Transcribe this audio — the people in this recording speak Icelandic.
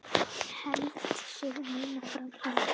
Hann hélt sig muna framhaldið.